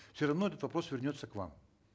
все равно этот вопрос вернется к вам